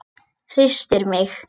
Hristir mig.